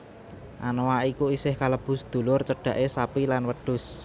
Anoa iku isih kalebu sedulur cedhake sapi lan wedhus